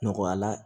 Nɔgɔya la